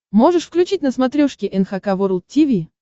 можешь включить на смотрешке эн эйч кей волд ти ви